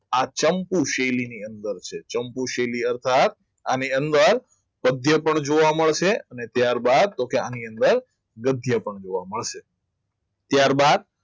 આ ચંપુ શૈલીની અંદર છે ચંપુ સૈલી અર્થાત અને તેની અંદર પદ્ય પણ જોવા મળશે અને ત્યારબાદ તો આની અંદર ગદ્ય પણ જોવા મળશે ત્યારબાદ